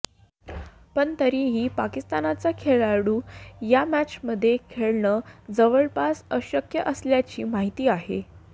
पण तरीही पाकिस्तानचा खेळाडू या मॅचमध्ये खेळणं जवळपास अशक्य असल्याची माहिती आहे